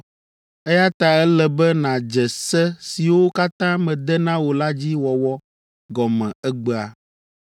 eya ta ele be nàdze se siwo katã mede na wò la dzi wɔwɔ gɔme egbea.”